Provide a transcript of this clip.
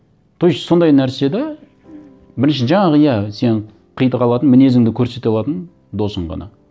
то есть сондай нәрсе де бірінші жаңағы иә сен қитыға алатын мінезіңді көрсете алатын досың ғана